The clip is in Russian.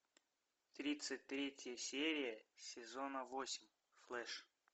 тридцать третья серия сезона восемь флэш